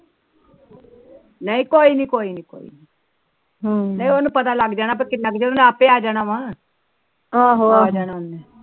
ਨਈ ਕੋਈ ਨੀ ਕੋਈ ਹਮ ਨਹੀ ਉਹਨੂੰ ਪਤਾ ਲੱਗ ਜਾਣਾ ਕਿੰਨਾ ਚ ਉਹਨੇ ਆਪੇ ਆ ਜਾਣਾ ਵਾ ਆਹੋ